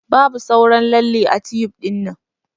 Babu sauran lalle ã tyun dinnan.